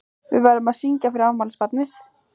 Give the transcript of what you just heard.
Við verðum að syngja fyrir afmælisbarnið.